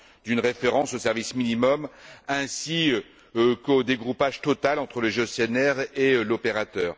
d'une référence au service minimum ainsi qu'au dégroupage total entre les gestionnaires et l'opérateur.